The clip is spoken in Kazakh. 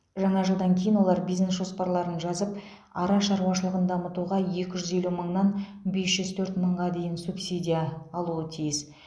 жаңа жылдан кейін олар бизнес жоспарларын жазып ара шаруашылығын дамытуға екі жүз елу мыңнан бес жүз төрт мыңға дейін субсидия алуы тиіс